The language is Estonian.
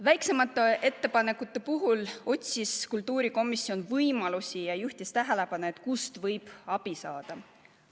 Väiksemate ettepanekute puhul otsis kultuurikomisjon võimalusi ja juhtis tähelepanu, kust võib abi saada.